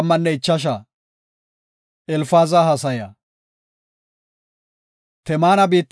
Temaana biittafe yida Elfaazi haysada yaagis;